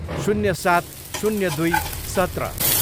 शून्य सात, शून्य दुई, सत्र